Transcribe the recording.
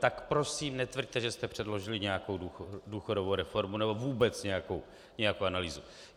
Tak prosím netvrďte, že jste předložili nějakou důchodovou reformu nebo vůbec nějakou analýzu.